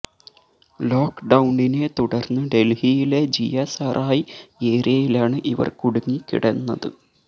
ലോക് ഡൌണിനെ തുടർന്ന് ഡൽഹിയിലെ ജിയ സറായി ഏരിയയിലാണ് ഇവർ കുടുങ്ങി കിടന്നത്